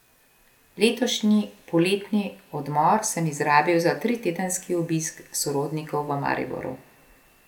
Letošnji poletni odmor sem izrabil za tritedenski obisk sorodnikov v Mariboru.